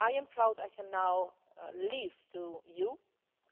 I am proud I can now leave to you